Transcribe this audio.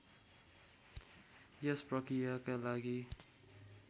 यस प्रकृयाका लागि